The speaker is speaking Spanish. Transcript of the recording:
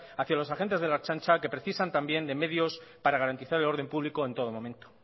hacia los agentes de la ertzaintza que precisan también de medios para garantizar el orden público en todo momento